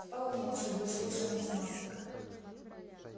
вполне согласился математик